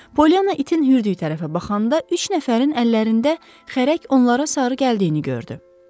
Polyanna itin hürdüyü tərəfə baxanda üç nəfərin əllərində xərək onlara sarı gəldiyini gördü.